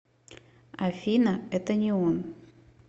афина это не он